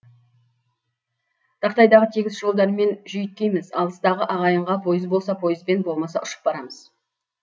тақтайдай тегіс жолдармен жүйткиміз алыстағы ағайынға пойыз болса пойызбен болмаса ұшып барамыз